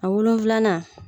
A wolonfilanan